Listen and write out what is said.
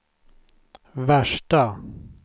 värsta